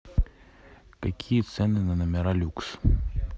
какие цены на номера люкс